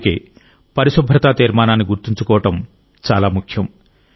అందుకే పరిశుభ్రతా తీర్మానాన్ని గుర్తుంచుకోవడం ముఖ్యం